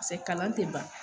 Pase kalan te ban